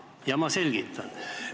Ja ma selgitan.